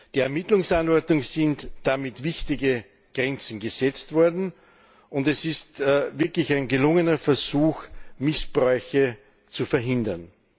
Der Ermittlungsanordnung sind damit wichtige Grenzen gesetzt worden. Es ist wirklich ein gelungener Versuch, Missbräuche zu verhindern.